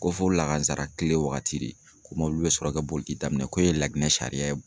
Ko fo lahazara kile waagati de, ko mɔbili bɛ sɔrɔ kɛ boli daminɛ k'o ye laginɛ sariya ye.